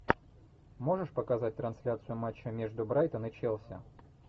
можешь показать трансляцию матча между брайтон и челси